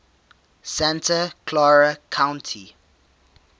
santa clara county